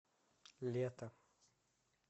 лето